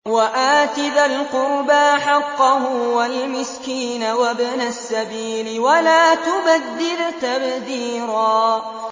وَآتِ ذَا الْقُرْبَىٰ حَقَّهُ وَالْمِسْكِينَ وَابْنَ السَّبِيلِ وَلَا تُبَذِّرْ تَبْذِيرًا